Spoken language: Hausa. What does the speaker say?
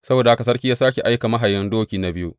Saboda haka sarki ya sāke aika mahayin doki na biyu.